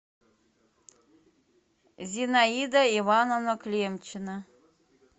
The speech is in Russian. зинаида ивановна клемчина